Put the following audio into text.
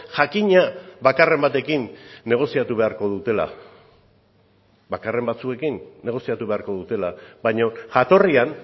jakina bakarren batekin negoziatu beharko dutela bakarren batzuekin negoziatu beharko dutela baina jatorrian